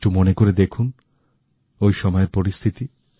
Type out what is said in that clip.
একটু মনে করে দেখুন ওই সময়ের পরিস্থিতি